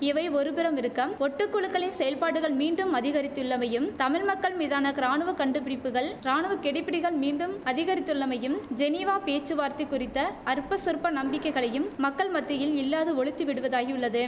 இவை ஒருபுறமிருக்கம் ஒட்டு குழுக்களின் செயல்பாடுகள் மீண்டும் அதிகரித்துள்ளமையும் தமிழ் மக்கள் மீதான கிராணுவக் கண்டுபிடிப்புகள் ராணுவக்கெடுபிடிகள் மீண்டும் அதிகரித்துள்ளமையும் ஜெனீவா பேச்சுவார்த்தை குறித்த அற்பசொற்ப நம்பிக்கைகளையும் மக்கள் மத்தியில் இல்லாது ஒழித்து விடுவதாகியுள்ளது